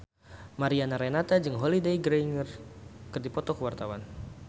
Mariana Renata jeung Holliday Grainger keur dipoto ku wartawan